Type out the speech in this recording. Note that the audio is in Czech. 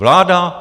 Vláda?